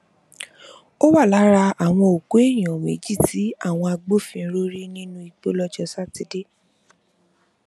ó wà lára àwọn òkú èèyàn méjì tí àwọn agbófinró rí nínú igbó lọjọ sátidé